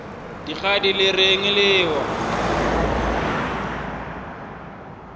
dikgadi le reng le ewa